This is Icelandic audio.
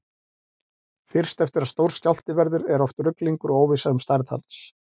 Fyrst eftir að stór skjálfti verður er oft ruglingur og óvissa um stærð hans.